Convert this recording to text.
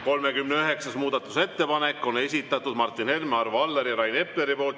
39. muudatusettepaneku on esitanud Martin Helme, Arvo Aller ja Rain Epler.